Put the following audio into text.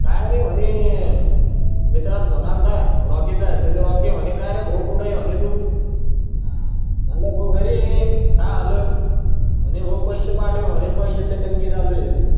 मित्राला घेऊन आलता कायरे भाऊ कुठे हायरे तू म्हणलं तू घरी हा आलो पैसे पाटव म्हणे पयशाची तंगी चालू हे